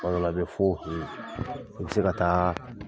Kuma dɔw la i bɛ fɔ hu i bɛ se ka taa